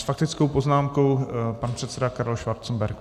S faktickou poznámkou pan předseda Karel Schwarzenberg.